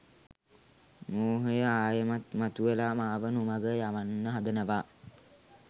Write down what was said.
මෝහය ආයෙමත් මතුවෙලා මාව නොමග යවන්න හදනවා.